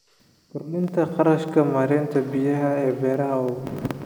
Kordhinta kharashka maaraynta biyaha ee beeraha waaweyn.